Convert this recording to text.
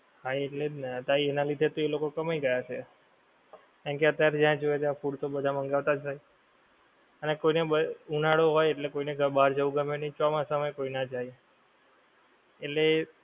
હા એટલે જ ને તેના લીધે એ લોકો કમાઈ ગયા હશે કારણકે અત્યારે જ્યાં જોઈએ ત્યાં food તો બધા મંગવતા જ હોય અને કોઈને ઉનાળો હોય એટલે કોઈને બહાર જવું ગમે નહીં ચોમાસામા ય કોઈ જાય એટલે